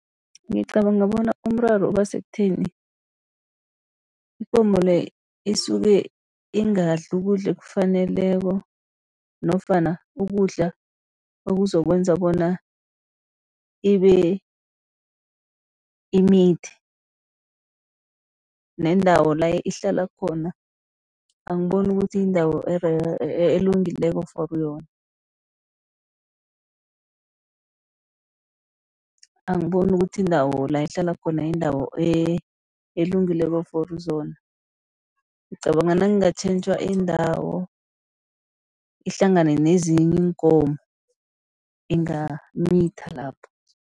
Ngicabanga bona umraro uba sekutheni, ikomo le isuke ingadli ukudla ekufaneleko nofana ukudla okuzokwenza bona ibe imithi. Nendawo la ihlala khona, angiboni ukuthi indawo elungileko for yona. Angiboni ukuthi indawo la ihlala khona yindawo elungileko for zona. Ngicabanga nakungatjhentjhwa indawo, ihlangane nezinye iinkomo ingamitha lapho.